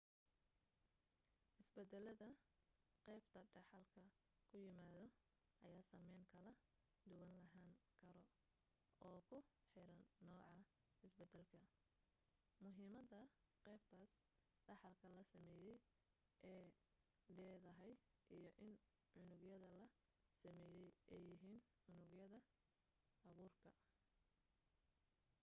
isbedeladda qaybta dhaxalka ku yimaado ayaa saamayn kala duwan lahaan karo oo ku xiran nooca isbedelka muhiimadda qaybtaas dhexaalka la sameeyey ey leedahay iyo in unugyadda la sameeyey ay yihiin unugyadda abuurka